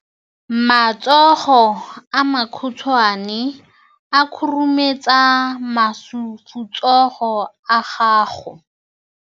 Matsogo a makhutshwane a khurumetsa masufutsogo a gago.